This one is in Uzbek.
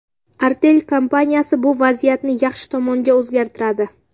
Artel kompaniyasi bu vaziyatni yaxshi tomonga o‘zgartiradi!